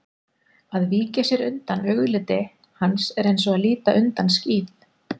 Að víkja sér undan augliti hans er eins og að líta undan skíð